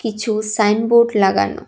কিছু সাইনবোর্ড লাগানো।